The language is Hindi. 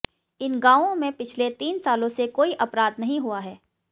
इन गांवों में पिछले तीन सालों से कोई अपराध नहीं हुआ है